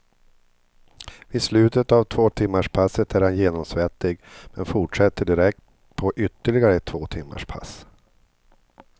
Vid slutet av tvåtimmarspasset är han genomsvettig men fortsätter direkt på ytterligare ett tvåtimmarspass.